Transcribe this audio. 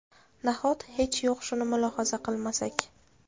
Nahot hech yo‘q shuni mulohaza qilmasak?!